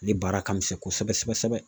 Ale baara ka misɛn kosɛbɛ kosɛbɛ.